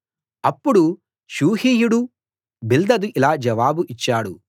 అప్పుడు షూహీయుడు బిల్దదు ఇలా జవాబు ఇచ్చాడు